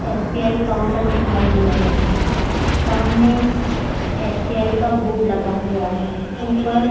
SBI counter दिखाई दे रहा है। सामने एसबीआई का बोर्ड लगा हुआ है। ऊपर --